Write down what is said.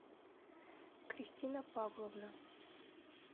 кристина павловна